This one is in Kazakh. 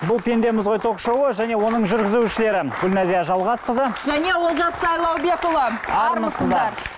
бұл пендеміз ғой ток шоуы және оның жүргізушілері гүлназия жалғасқызы және олжас сайлаубекұлы армысыздар